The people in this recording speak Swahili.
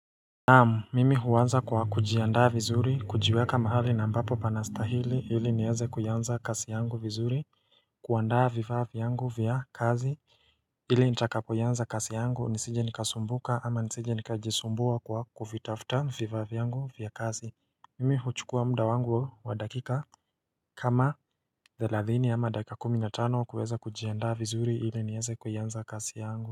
Naamu mimi huanza kwa kujiandaa vizuri kujiweka mahali na ambapo pana stahili ili nieze kuanza kazi yangu vizuri kuandaa vifaa vyangu vya kazi ili nitakapoiyanza kazi yangu nisije nikasumbuka ama nisije nikajisumbua kwa kuvitafta vifaa vyangu vya kazi Mimi huchukua muda wangu wa dakika kama 30 ama dakika kumi na tano kuweza kujiandaa vizuri ili nieze kuiyanza kazi yangu.